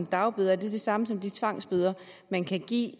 dagbøder er det samme som de tvangsbøder man kan give